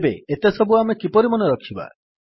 ତେବେ ଏତେ ସବୁ ଆମେ କିପରି ମନେରଖିବା